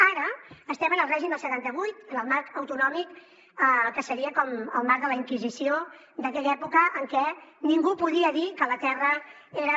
ara estem en el règim del setanta vuit en el marc autonòmic que seria com el marc de la inquisició d’aquella època en què ningú podia dir que la terra era